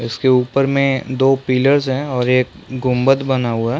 इसके ऊपर में दो पिल्लर्स है और एक गुम्मद बना हुआ है।